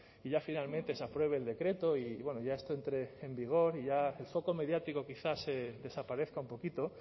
y ya finalmente se apruebe el decreto y bueno ya esto entre en vigor y ya el foco mediático quizás desaparezca un poquito